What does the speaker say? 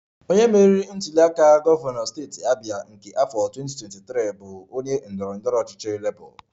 Onye meriri ntuliaka gọvanọ steeti Abia nke afọ 2023 bụ onye ndọrọ ndọrọ ọchịchị Labour